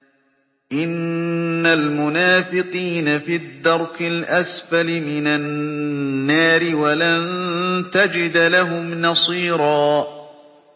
إِنَّ الْمُنَافِقِينَ فِي الدَّرْكِ الْأَسْفَلِ مِنَ النَّارِ وَلَن تَجِدَ لَهُمْ نَصِيرًا